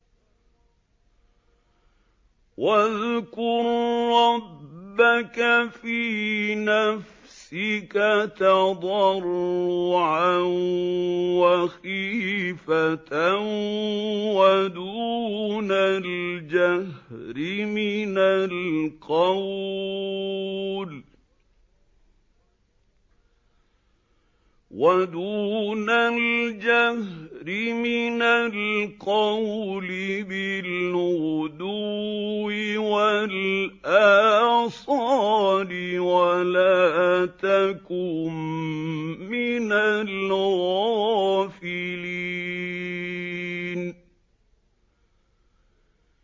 وَاذْكُر رَّبَّكَ فِي نَفْسِكَ تَضَرُّعًا وَخِيفَةً وَدُونَ الْجَهْرِ مِنَ الْقَوْلِ بِالْغُدُوِّ وَالْآصَالِ وَلَا تَكُن مِّنَ الْغَافِلِينَ